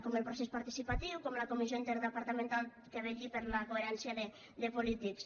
com el procés participatiu com la comissió interdepartamental que vetlli per la coherència de polítics